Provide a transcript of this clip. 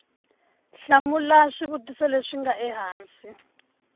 hlamula xivutiso lexi nga ehansi